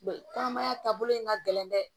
kɔnɔmaya taabolo in ka gɛlɛn dɛ